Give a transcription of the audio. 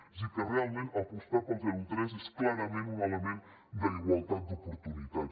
és a dir que realment apostar pel zero tres és clarament un element d’igualtat d’oportunitats